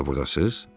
Siz də burdasız?